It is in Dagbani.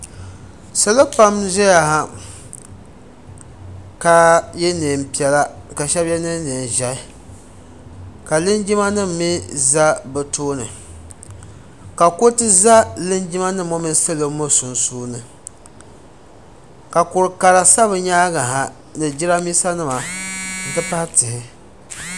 Salo pam n ʒɛya ha ka yɛ niɛn piɛla ka shɛba lee yɛ niɛn ʒiɛhi ka linjima nim mi za bi tooni ka kuriti za linjima nim ŋɔ mini salo ŋɔ sunsuuni ka kurugu kara sa bi nyaanga ha ni Jiranbiisa nima n ti pahi tihi.